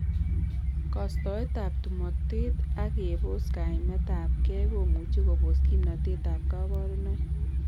Kostoet ab tumotes ak kebos kaimet ab gei komuch kobos kimnotet ab kabarunoik